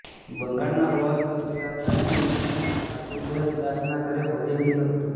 બંગાળના પ્રવાસ પર ગયા હતા ત્યારે તેમણે બાસુદેબ દાસના ઘરે ભોજન લીધું હતું